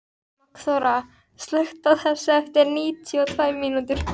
Magnþóra, slökktu á þessu eftir níutíu og tvær mínútur.